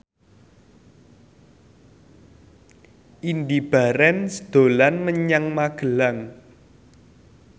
Indy Barens dolan menyang Magelang